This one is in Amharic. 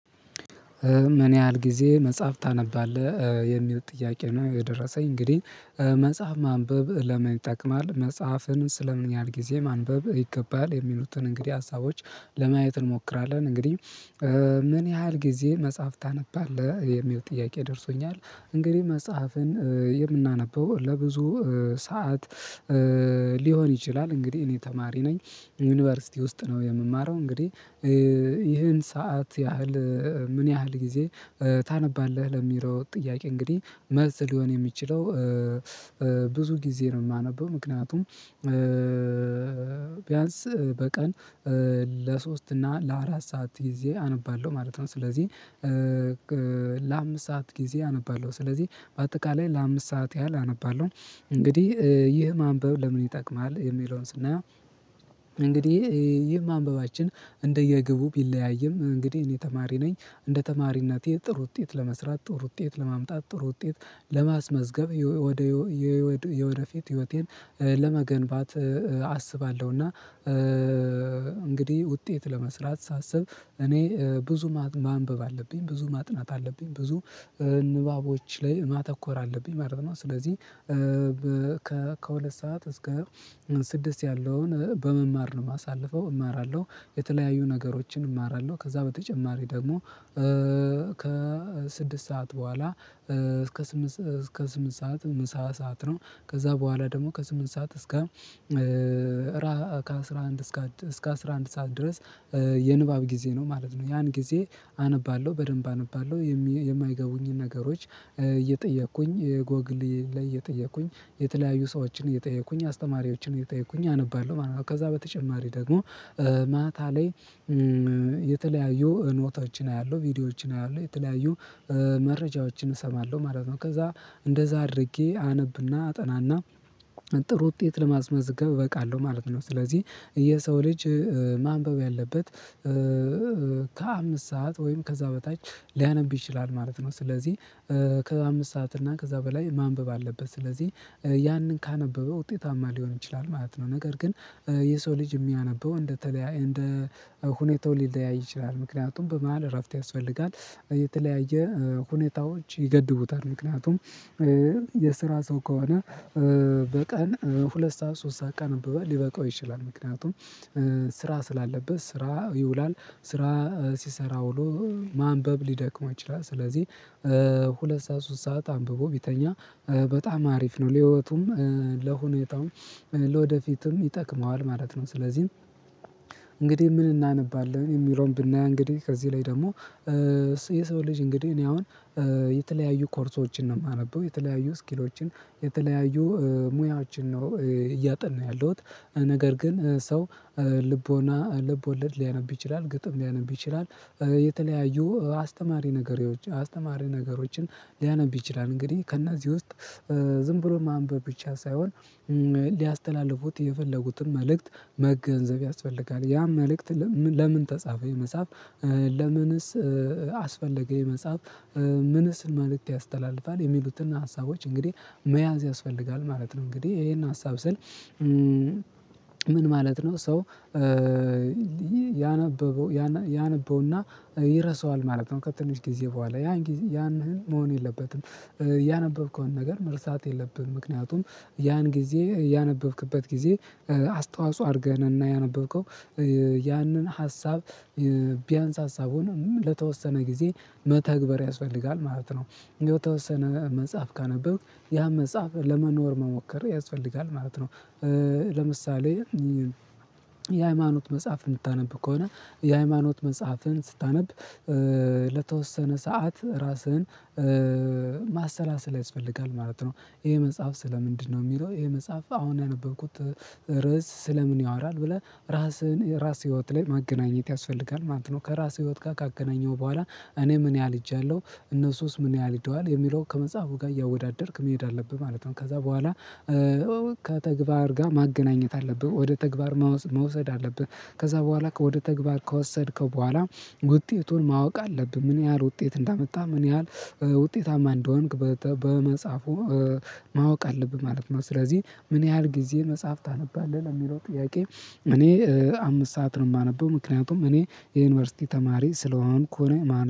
ምን ያህል ጊዜ መጽሐፍ ታነባለህ? የሚል ጥያቄ ነው የደረሰኝ እንግዲህ መጽሐፍ ማንበብ ለምን ይጠቅማል? መጽሐፍንስ ለምን ያህል ጊዜ ማንበብ ይገባል? የሚሉትን እንግዲህ ሀሳቦች ለማየት እንሞክራለን እንግዲህ ምን ያህል ጊዜ መጽሐፍ ታነባለህ የሚል ጥያቄ ደርሶኛል እንግዲህ መጽሐፍን የምናነበው ለብዙ ሰዓት ሊሆን ይችላል እንግዲህ እኔ ተማሪ ነኝ። ዩኒቨርሲቲ ውስጥ ነው የምማረው እንግዲህ ይህን ሰዓት ያህል ምን ያህል ጊዜ ታነባለህ ለሚለው ጥያቄ እንግዲህ መልስ ሊሆን የሚችለው ብዙ ጊዜ ነው የማነበው። ምክንያቱም ቢያንስ በቀን ለሶስት እና ለአራት ሰዓት ጊዜ አነባለሁ ማለት ነው። ስለዚህ ለአምስት ሰዓት ጊዜ አነባለሁ። ስለዚህ በአጠቃላይ ለአምስት ሰዓት ያህል አነባለሁ። እንግዲህ ይህ ማንበብ ለምን ይጠቅማል የሚለውን ስናየው እንግዲህ ይህ ማንበባችን እንደየግቡ ቢለያይም እንግዲህ እኔ ተማሪ ነኝ እንደ ተማሪነቴ ጥሩ ውጤት ለመስራት፣ ጥሩ ውጤት ለማምጣት፣ ጥሩ ውጤት ለማስመዝገብ፣ የወደፊት ህይወቴን ለመገንባት አስባለሁ እና እንግዲህ ውጤት ለመስራት ሳስብ እኔ ብዙ ማንበብ አለብ፣ ብዙ ማጥናት አለብኝ፣ ብዙ ንባቦች ላይ ማተኮር አለብኝ ማለት ነው። ስለዚህ ከሁለት ሰዓት እስከ ስድስት ያለውን በመማር ነው የማሳልፈው። እማራለሁ የተለያዩ ነገሮችን እማራለሁ ከዛ በተጨማሪ ደግሞ ከስድስት ሰዓት በኋላ እስከ ስምንት ሰዓት ምሳ ሰዓት ነው። ከዛ በኋላ ደግሞ ከስምንት ሰዓት እስከ አስራ አንድ ሰዓት ድረስ የንባብ ጊዜ ነው ማለት ነው። ያን ጊዜ አነባለሁ በደንብ አነባለሁ የማይገቡኝን ነገሮች እየጠየቅኩኝ፣ ጎግል ላይ እየጠየኩኝ፣ የተለያዩ ሰዎችን እየጠየኩኝ፣ አስተማሪዎችን እየጠየኩኝ አነባለሁ ማለት ነው። ከዛ በተጨማሪ ደግሞ ማታ ላይ የተለያዩ ኖቶችን አያለሁ። ቪዲዮዎችን አያለሁ የተለያዩ መረጃዎችን እሰማለሁ ማለት ነው። ከዛ እንደዛ አድርጌ አነብና አጠናና ጥሩ ውጤት ለማስመዝገብ እበቃለሁ ማለት ነው። ስለዚህ የሰው ልጅ ማንበብ ያለበት ከአምስት ሰዓት ወይም ከዛ በታች ሊያነብ ይችላል ማለት ነው። ስለዚህ ከአምስት ሰዓት እና ከዛ በላይ ማንበብ አለበት። ስለዚህ ያንን ካነበበ ውጤታማ ሊሆን ይችላል ማለት ነው። ነገር ግን የሰው ልጅ የሚያነበው እንደ ሁኔታው ሊለያይ ይችላል ምክንያቱም በመሃል እረፍት ያስፈልጋል። የተለያየ ሁኔታዎች ይገድቡታል ምክንያቱም የስራ ሰው ከሆነ በቀን ሁለት ሰዓት ሶስት ሰዓት ቀን ሊበቃው ይችላል። ምክንያቱም ስራ ስላለበት ስራ ይውላል። ስራ ሲሰራ ውሎ ማንበብ ሊደክመው ይችላል ስለዚህ ሁለት ሰዓት ሶስት ሰዓት አንብቦ ቢተኛ በጣም አሪፍ ነው። ለህይወቱም ለሁኔታውም ለወደፊትም ይጠቅመዋል ማለት ነው። ስለዚህ እንግዲህ ምን እናነባለን የሚለውን ብናይ እንግዲህ ከዚህ ላይ ደግሞ የሰው ልጅ እንግዲህ እኔ አሁን የተለያዩ ኮርሶችን ነው የማነበው። የተለያዩ ስኪሎች፣ የተለያዩ ሙያዎችን ነው እያጠናሁ ያለውት። ነገር ግን ሰው ልቦለድ ሊያነብ ይችላ፣ ግጥም ሊያነብ ይችላል፣ የተለያዩ አስተማሪ ነገሮችም ሊያነብ ይችላል እንግዲህ ከእነዚህ ውስጥ ዝም ብሎ ማንበብ ብቻ ሳይሆን ሊያስተላልፉት የፈለጉትን መልእክት መገንዘብ ያስፈልጋል። ያን መልእክት ለምን ተጻፈ ይሄ መጽሐፍ? ለምንስ አስፈለገ ይሄ መጽሐፍ? ምንስ መልእክት ያስተላልፋል? የሚሉትን ሀሳቦች እንግዲህ መያዝ ያስፈልጋል ማለት ነው። እንግዲህ ይሄን ሀሳብ ስል ምን ማለት ነው ሰው ያነበውና ይረሳዋል ማለት ነው ከትንሽ ጊዜ በኋላ ያን መሆን የለበትም። ያነበብከውን ነገር መርሳት የለብህም። ምክንያቱም ያን ጊዜ ያነበብክበት ጊዜ አስተዋጽኦ አርገህ ነውና ያነበብከው ያንን ሀሳብ ቢያንስ ሀሳቡን ለተወሰነ ጊዜ መተግበር ያስፈልጋል ማለት ነው። የተወሰነ መጽሐፍ ካነበብክ ያን መጽሐፍ ለመኖር መሞከር ያስፈልጋል ማለት ነው። ለምሳሌ የሃይማኖት መጽሐፍ የምታነብ ከሆነ የሃይማኖት መጽሐፍህን ስታነብ ለተወሰነ ሰዓት ራስህን ማሰላሰል ያስፈልጋል ማለት ነው። ይሄ መጽሐፍ ስለ ምንድነው? የሚለው ይሄ መጽሐፍ አሁን ያነበብኩት ርዕስ ስለ ምን ያወራል? ብለህ ራስህን ራስህ ህይወት ላይ ማገናኘት ያስፈልጋል ማለት ነው። ከራስህ ህይወት ጋር ካገናኘኸው በኋላ እኔ ምን ያህል ሄጃለሁ እነሱስ ምን ያህል ሄደዋል የሚለው ከመጽሐፉ ጋር እያወዳደርክ መሄድ አለብህ ማለት ነው ከዛ በኋላ ከተግባር ጋር ማገናኘት አለብህ። ወደ ተግባር መውሰድ አለብህ። ከዛ በኋላ ወደ ተግባር ከወሰድከው በኋላ ውጤቱን ማወቅ አለብህ። ምን ያህል ውጤት እንዳመጣ ምን ያህል ውጤታማ እንደሆንክ በመጽሐፉ ማወቅ አለብህ ማለት ነው። ስለዚህ ምን ያህል ጊዜ መጽሐፍ ታነባለህ ለሚለው ጥያቄ እኔ አምስት ሰዓት ነው የማነበው። ምክንያቱም እኔ የዩኒቨርሲቲ ተማሪ ስለሆንኩ ነው ማለት ነው።